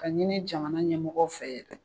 Ka ɲini jamana ɲɛmɔgɔw fɛ